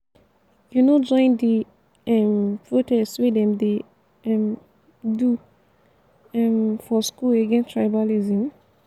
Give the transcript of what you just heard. you no join di um protest wey dem dey um do um for school against tribalism?